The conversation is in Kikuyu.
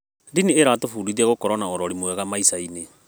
Ndini ĩratũbundithia gũkorwo na ũrori mwega maica-inĩ.